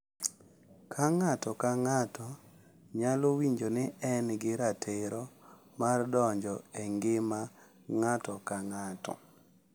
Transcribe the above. Ka ng’ato ka ng’ato nyalo winjo ni en gi ratiro mar donjo e ngima ng’ato ka ng’ato.